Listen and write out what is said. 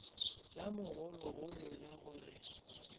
la mogologolo la go re